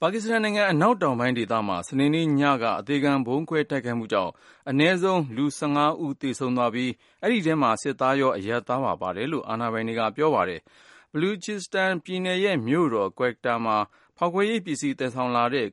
ပါကစ္စတန်နိုင်ငံ အနောက်တောင်ပိုင်းဒေသမှာ စနေနေ့ညနေက အသေခံဗုံးခွဲ တိုက်ခိုက်မှုကြောင့် အနည်းဆုံးလူ(၁၅)ဦး သေဆုံးသွားပြီး ၊ အဲဒီထဲမှာ စစ်သားရော အရပ်သားပါ ပါတယ်လို့ အာဏာပိုင်တွေက ပြောပါတယ်။ Baluchistan ပြည်နယ်ရဲ့မြို့တော် Quetta မှာ ဖေါက်ခွဲရေးပစ္စည်းသယ်လာတဲ့